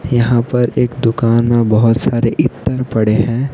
यहां पर एक दुकान में बहुत सारे इत्र पड़े हैं।